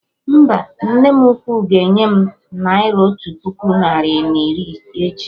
Mba, nne m ukwu ga enye m naira otu puku narị na iri echi